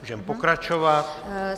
Můžeme pokračovat.